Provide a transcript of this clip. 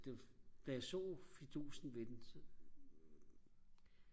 det var da jeg så fidusen ved den så